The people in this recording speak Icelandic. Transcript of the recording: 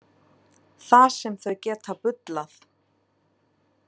Það sem þau geta bullað.